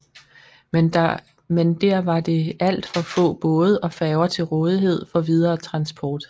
Men der var det alt for få både og færger til rådighed for videre transport